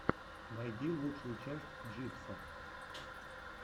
найди лучшую часть джибса